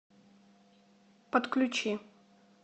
подключи